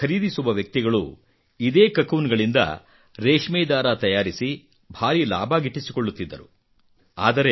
ಇದನ್ನು ಖರೀದಿಸುವ ವ್ಯಕ್ತಿಗಳು ಇದೇ ಕುಕೂನ್ ಗಳಿಂದ ರೇಷ್ಮೆ ದಾರ ತಯಾರಿಸಿ ಭಾರೀ ಲಾಭ ಗಿಟ್ಟಿಸಿಕೊಳ್ಳುತ್ತಿದ್ದರು